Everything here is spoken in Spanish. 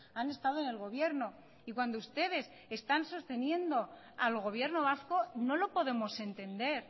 han estado en el gobierno y cuando ustedes están sosteniendo al gobierno vasco no lo podemos entender